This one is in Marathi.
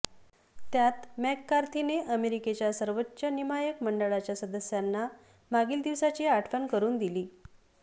त्यात मॅककार्थीने अमेरिकेच्या सर्वोच्च नियामक मंडळाच्या सदस्यांना मागील दिवसाची आठवण करुन दिली